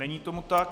Není tomu tak.